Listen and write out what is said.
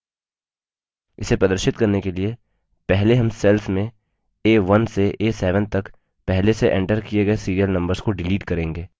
इसे प्रदर्शित करने के लिए पहले हम cells में a1 से a7 तक पहले से एंटर किए गए serial numbers को डिलीट करेंगे